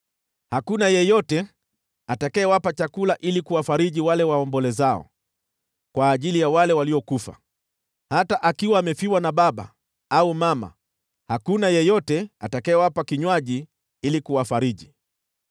Hakuna yeyote atakayewapa chakula ili kuwafariji wale waombolezao kwa ajili ya wale waliokufa, hata akiwa amefiwa na baba au mama, wala hakuna yeyote atakayewapa kinywaji ili kuwafariji.